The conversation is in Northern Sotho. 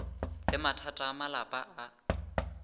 le mathata a malapa a